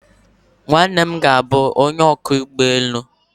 Nwanne m ga-abụ onye ọkwọ ụgbọ elu